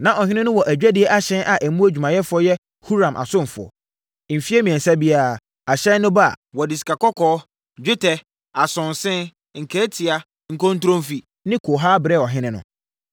Na ɔhene no wɔ adwadie ahyɛn a emu adwumayɛfoɔ yɛ Huram asomfoɔ. Mfeɛ mmiɛnsa biara, ahyɛn no ba a, wɔde sikakɔkɔɔ, dwetɛ, asonse, nkaatia, nkontromfi ne kohaa brɛ ɔhene no.